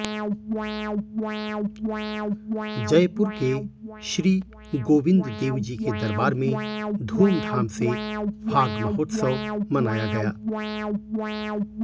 जयपुर के श्री गोविंद देवजी के दरबार में धूमधाम से फाग महोत्स्व मनाया गया